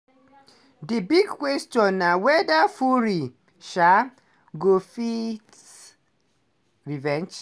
di big question na weda fury um go fit revenge